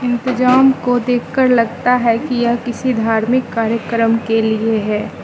इंतजाम को देखकर लगता है कि यह किसी धार्मिक कार्यक्रम के लिए है।